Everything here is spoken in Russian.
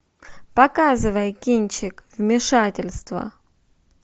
показывай кинчик вмешательство